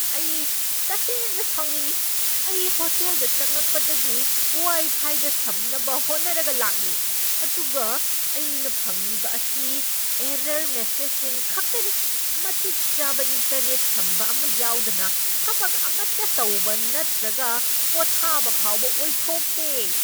ꯑꯩ ꯇꯁꯦꯡꯅ ꯁꯥꯎꯅꯤꯡꯢ! ꯑꯩ ꯍꯣꯇꯦꯜꯗ ꯆꯪꯂꯛꯄꯗꯒꯤ ꯋꯥꯏ ꯐꯥꯏꯗ ꯁꯝꯅꯕ ꯍꯣꯠꯅꯔꯒ ꯂꯥꯛꯂꯤ, ꯑꯗꯨꯒ ꯑꯩꯅ ꯐꯪꯂꯤꯕ ꯑꯁꯤ ꯑꯦꯔꯔ ꯃꯦꯁꯦꯖꯁꯤꯡ ꯈꯛꯇꯅꯤ꯫ ꯃꯇꯤꯛ ꯆꯥꯕ ꯏꯟꯇꯔꯅꯦꯠ ꯁꯝꯕ ꯑꯃ ꯌꯥꯎꯗꯅ ꯊꯕꯛ ꯑꯃꯠꯇ ꯇꯧꯕ ꯅꯠꯇ꯭ꯔꯒ ꯄꯣꯊꯕ ꯐꯥꯎꯕ ꯑꯣꯏꯊꯣꯛꯇꯦ꯫